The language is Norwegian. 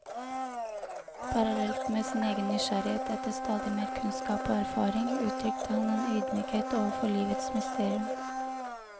Parallelt med sin egen nysgjerrighet etter stadig mer kunnskap og erfaring, uttrykte han en ydmykhet overfor livets mysterium.